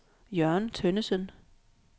Jørgen Tønnesen